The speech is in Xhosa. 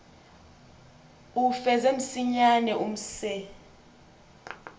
uwufeze msinyane umse